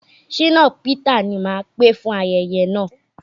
Ṣínà Pità ni máà pè fún ayeye náà.